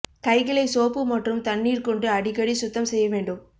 கைகளை சோப்பு மற்றும் தண்ணீர் கொண்டு அடிக்கடி சுத்தம் செய்ய வேண்டும்